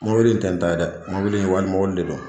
Mobili in tɛ n ta ye dɛ mɔbili in wali mɔbili de do.